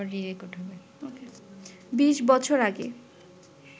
বিশ বছর আগে